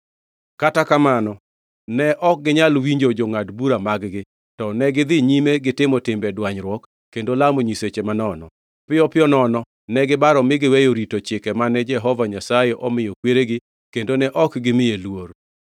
Kata kamano ne ok ginyal winjo jongʼad bura mag-gi, to negidhi nyime gitimo timbe dwanyruok kendo lamo nyiseche manono. Piyo piyo nono ne gibaro mi giweyo rito chike mane Jehova Nyasaye omiyo kweregi kendo ne ok gimiye luor.